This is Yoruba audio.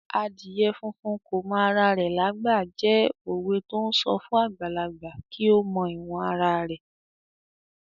"Adìyẹ funfun kò mọ ara rẹ lágbà" jẹ́ òwe to ń sọ fún àgbàlagbà kí ó mọ ìwọ̀n ara rẹ̀.